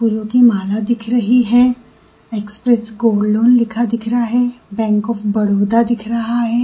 फूलों की माला दिख रही है एक्सप्रेस गोल्ड लोन लिखा दिख रहा है बैंक ऑफ बड़ौदा भी दिख रहा है।